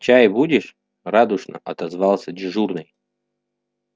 чай будешь радушно отозвался дежурный